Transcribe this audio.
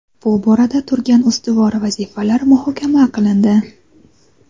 bu borada turgan ustuvor vazifalar muhokama qilindi.